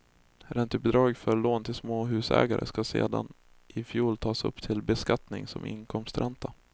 Räntebidrag för lån till småhusägare ska sedan i fjol tas upp till beskattning som inkomstränta.